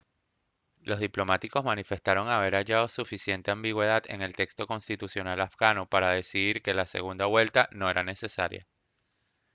los diplomáticos manifestaron haber hallado suficiente ambigüedad en el texto constitucional afgano para decidir que la segunda vuelta no era necesaria